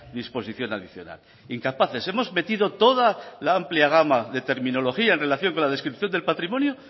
disposición adicional incapaces hemos metido toda la amplia gama de terminología en relación con la descripción del patrimonio